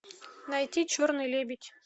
найти черный лебедь